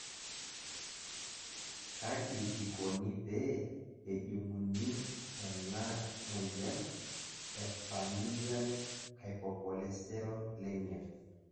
Kaji ikoni pee ejung'uni ena amoyian e Familial hypercholesterolemia ?